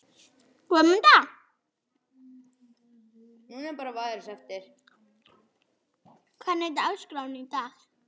Guðmunda, hvernig er dagskráin í dag?